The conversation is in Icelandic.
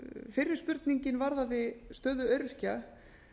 fyrri spurningin varðaði stöðu öryrkja